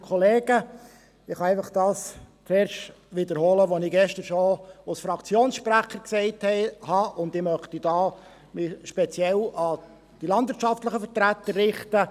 Ich kann einfach das zuerst wiederholen, was ich gestern schon als Fraktionssprecher gesagt habe, und ich möchte mich dabei speziell an die Vertreter der Landwirtschaft richten.